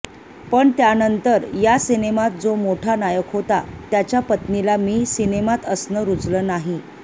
पण त्यानंतर या सिनेमात जो मोठा नायक होता त्याच्या पत्नीला मी सिनेमात असणं रुचलं नाही